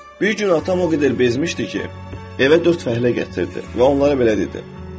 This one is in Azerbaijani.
Bir gün atam o qədər bezmişdi ki, evə dörd fəhlə gətirdi və onlara belə dedi: